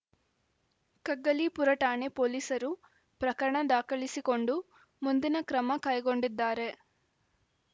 ಕಗ್ಗಲೀಪುರ ಠಾಣೆ ಪೊಲೀಸರು ಪ್ರಕರಣ ದಾಖಲಿಸಿಕೊಂಡು ಮುಂದಿನ ಕ್ರಮ ಕೈಗೊಂಡಿದ್ದಾರೆ